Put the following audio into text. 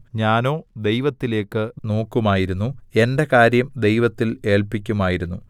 ഞാനോ ദൈവത്തിലേക്കു നോക്കുമായിരുന്നു എന്റെ കാര്യം ദൈവത്തിൽ ഏല്പിക്കുമായിരുന്നു